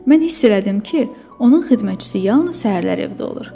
Mən hiss elədim ki, onun xidmətçisi yalnız səhərlər evdə olur.